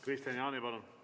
Kristian Jaani, palun!